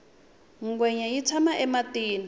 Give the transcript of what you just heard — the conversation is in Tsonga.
ngwenya yi tshama ematini